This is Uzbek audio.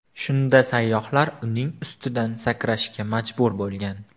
Shunda sayyohlar uning ustidan sakrashga majbur bo‘lgan.